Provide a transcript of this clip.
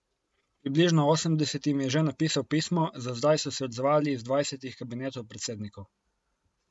Približno osemdesetim je že napisal pismo, za zdaj so se odzvali iz dvajsetih kabinetov predsednikov.